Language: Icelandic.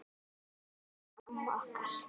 Elsku besta amma okkar.